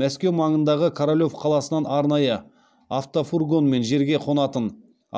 мәскеу маңындағы королев қаласынан арнайы автофургонмен жерге қонатын